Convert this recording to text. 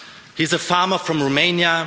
He's a farmer from Romania.